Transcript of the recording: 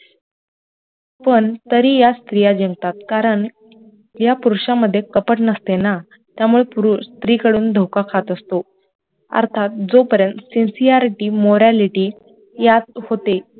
पण तरी यात स्त्रिया जिंकतात कारण या पुरुषांमध्ये कपट नसते ना त्यामुडे पुरुष स्त्री कडून धोखा खात असतो अर्थात जो पर्यंत sincerity, morality यात होतील